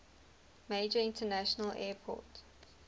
major international airport